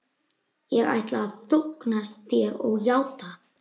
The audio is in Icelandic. Ég ætla að þóknast þér og játa.